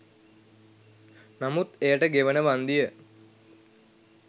නමුත් එයට ගෙවන වන්දිය